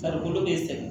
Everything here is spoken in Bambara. Farikolo be sɛgɛn